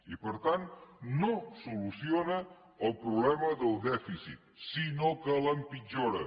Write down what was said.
i per tant no soluciona el problema del dèficit sinó que l’empitjora